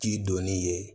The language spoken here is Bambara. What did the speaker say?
Ti donni ye